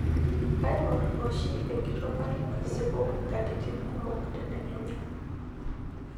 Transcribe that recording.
Kaingorr oshi enkitok ai asipu nkatitin kumok tedekenya.